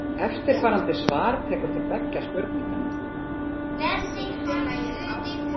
Eftirfarandi svar tekur til beggja spurninganna.